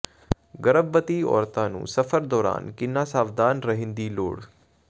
ਗਰਭਵਤੀ ਔਰਤਾਂ ਨੂੰ ਸਫ਼ਰ ਦੌਰਾਨ ਕਿੰਨਾ ਸਾਵਧਾਨ ਰਹਿਣ ਦੀ ਲੋੜ